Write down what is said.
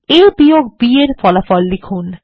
A বিয়োগ B এর ফলাফল লিখুন